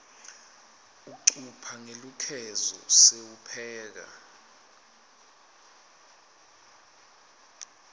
ucupha ngelukhezo sewupheka